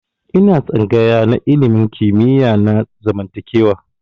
Ina tsangaya na ilimin kimiyya na zamantakewa.